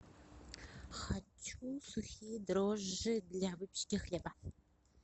хочу сухие дрожжи для выпечки хлеба